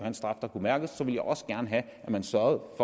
en straf der kunne mærkes ville jeg også gerne have at man sørgede